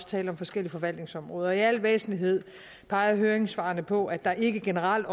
tale om forskellige forvaltningsområder i al væsentlighed peger høringssvarene på at der ikke generelt